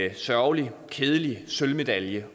en sørgelig kedelig sølvmedalje